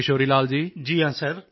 ਵੇਖੋ ਕਿਸ਼ੋਰੀ ਲਾਲ ਜੀ